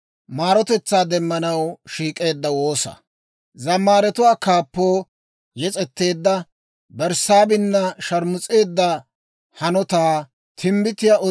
Abeet S'oossaw, aggena ne siik'uwaadan taana maara; ne k'aretaa daruwaadan ta bayzzuwaa k'uc'c'a.